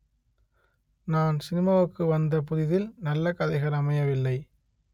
நான் சினிமாவுக்கு வந்த புதிதில் நல்ல கதைகள் அமையவில்லை